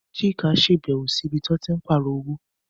Chuka ṣàbẹ̀wò sí ibi tí wọ́n ti ń pààrọ̀ owó